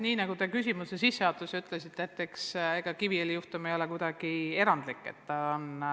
Nii nagu te küsimuse sissejuhatuses ütlesite, ega Kiviõli juhtum ei ole erandlik.